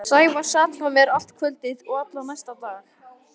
Sævar sat hjá mér allt kvöldið og allan næsta dag.